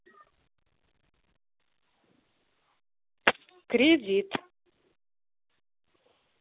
кредит